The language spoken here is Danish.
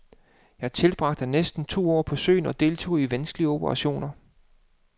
Jeg tilbragte næsten to år på søen og deltog i vanskelige operationer.